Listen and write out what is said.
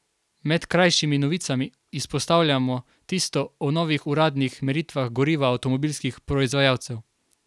Med krajšimi novicami izpostavljamo tisto o novih uradnih meritvah goriva avtomobilskih proizvajalcev.